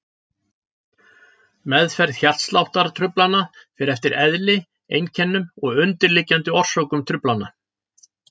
Meðferð hjartsláttartruflana fer eftir eðli, einkennum og undirliggjandi orsökum truflana.